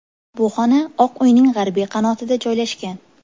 Bu xona Oq uyning g‘arbiy qanotida joylashgan.